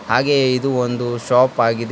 ಹಾಗೆ ಇದು ಒಂದು ಶಾಪ್ ಆಗಿದೆ.